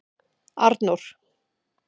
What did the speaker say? Arnór